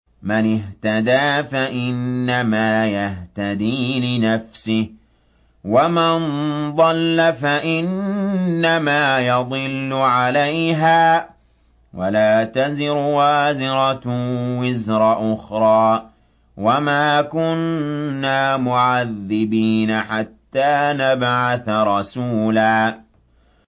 مَّنِ اهْتَدَىٰ فَإِنَّمَا يَهْتَدِي لِنَفْسِهِ ۖ وَمَن ضَلَّ فَإِنَّمَا يَضِلُّ عَلَيْهَا ۚ وَلَا تَزِرُ وَازِرَةٌ وِزْرَ أُخْرَىٰ ۗ وَمَا كُنَّا مُعَذِّبِينَ حَتَّىٰ نَبْعَثَ رَسُولًا